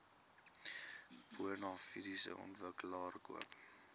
bonafide ontwikkelaar koop